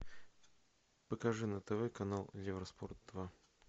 покажи на тв канал евроспорт два